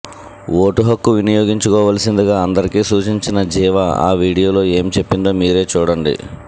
vote హక్కు వినియోగించుకోవాల్సిందిగా అందరికీ సూచించిన జివా ఆ వీడియోలో ఏం చెప్పిందో మీరే చూడండి